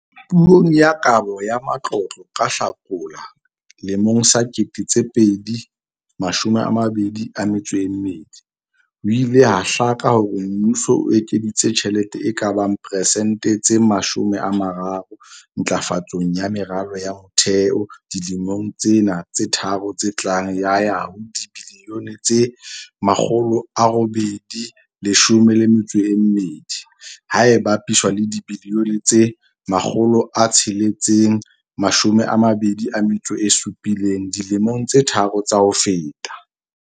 Puong ya Kabo ya Matlotlo ka Hlakola 2022, ho ile ha hlaka hore mmuso o ekeditse tjhelete e ka bang persente tse 30 ntlafatsong ya meralo ya motheo dilemong tsena tse tharo tse tlang ya ya ho dibilione tse R812, ha e bapiswa le dibilione tse R627 dilemong tse tharo tsa ho feta.